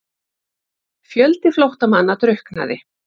Fjöldi flóttamanna drukknaði